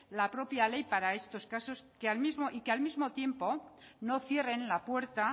la propia ley para estos casos y que al mismo y que al mismo tiempo no cierren la puerta